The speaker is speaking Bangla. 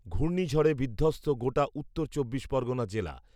ঘূর্ণিঝড়ে বিধ্বস্ত গোটা উত্তর চব্বিশ পরগণা জেলা